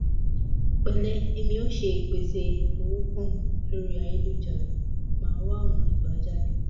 pele emi o se ipese owo kankan lori ayelujare ma wa ona ibajade